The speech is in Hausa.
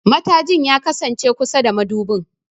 Matajin ya kasance kusa da madubin.